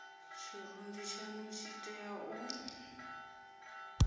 tshirunzi tshanu tshi tea u